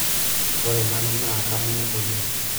ore nanu naa kamunyak oleng'